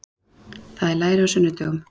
Það er læri á sunnudögum.